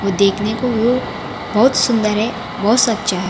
वो देखने को व्यू बहुत सुंदर है बहुत सच्चा है।